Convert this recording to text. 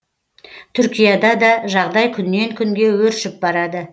түркияда да жағдай күннен күнге өршіп барады